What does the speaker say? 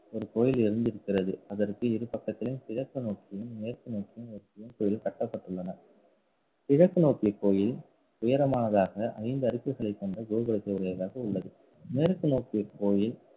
ஒரு கோயில் இருந்திருக்கிறது. அதற்கு இரு பக்கத்திலும், கிழக்கு நோக்கியும், மேற்கு நோக்கியும் ஒரு சிவன் கோயில் கட்டப்பட்டுள்ளன. கிழக்கு நோக்கிய கோயில் உயரமானதாக ஐந்து அடுக்குகளை கொண்ட கோபுரத்தை உடையதாக உள்ளது மேற்கு நோக்கிய கோயில்